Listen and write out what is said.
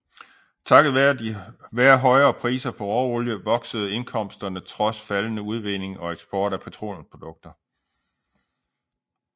Takket være højere priser på råolie voksede indkomsterne trods faldende udvinding og eksport af petroleumsprodukter